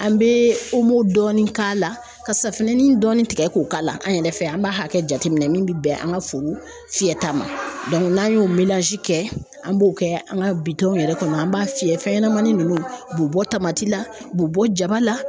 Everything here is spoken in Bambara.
An bɛ dɔɔni k'a la ka safinɛni dɔɔni tigɛ k'o k'a la an yɛrɛ fɛ an b'a hakɛ jateminɛ min bɛ bɛn an ka foro fiyɛta ma n'an y'o kɛ an b'o kɛ an ka bitɔn yɛrɛ kɔnɔ an b'a fiyɛ fɛn ɲɛnamanin nunnu u bɛ bɔ tamati la u bɛ bɔ jaba la.